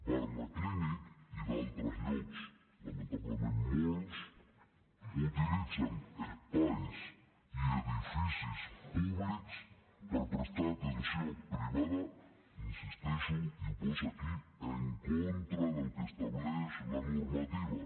barnaclínic i d’altres llocs lamentablement molts utilitzen espais i edificis públics per prestar atenció privada hi insisteixo i ho posa aquí en contra del que estableix la normativa